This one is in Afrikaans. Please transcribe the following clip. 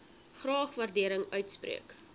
graag waardering uitspreek